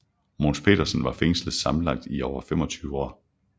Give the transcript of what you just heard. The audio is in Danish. Mogens Pedersen var fængslet sammenlagt i over 25 år